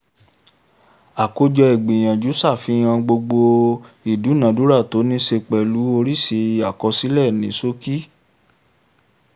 àkójọ ìgbìyànjú ṣàfihàn gbogbo ìdúnàádúrà tó ní ṣe pẹ̀lú oríṣi àkọsílẹ̀ ní ṣókí.